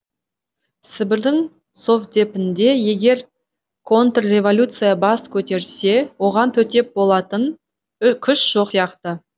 сібірдің совдепінде егер контрреволюция бас көтерсе оған төтеп болатын күш жоқ сияқты